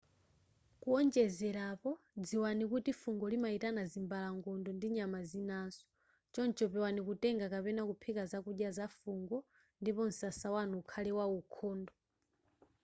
kuwonjezerapo dziwani kuti fungo limayitana zimbalangondo ndi nyama zinaso choncho pewani kutenga kapena kuphika zakudya za fungo ndipo msasa wanu ukhale waukhondo